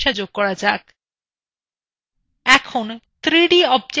এবার draw filea একটি নতুন করা যাক